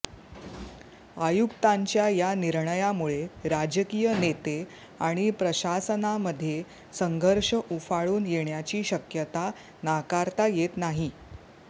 आयुक्तांच्या या निर्णयामुळे राजकीय नेते आणि प्रशासनामध्ये संघर्ष उफाळून येण्याची शक्यता नाकारता येत नाही